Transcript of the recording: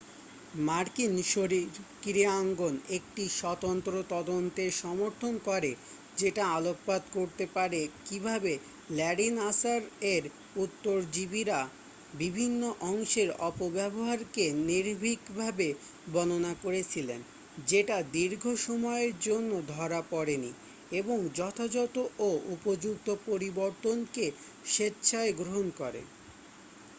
মার্কিন শারীরক্রীড়াঙ্গন একটি স্বতন্ত্র তদন্তের সমর্থন করে যেটা আলোকপাত করতে পারে কিভাবে ল্যারী নাসার এর উত্তরজীবীরা বিভিন্ন অংশের অপব্যবহারকে নির্ভীকভাবে বর্ণনা করেছিলেন যেটা দীর্ঘ সময়ের জন্য ধরা পড়েনি এবং যথাযথ ও উপযুক্ত পরিবর্তনকে স্বেচ্ছায় গ্রহণ করে